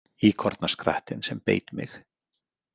Íkornaskrattinn sem beit mig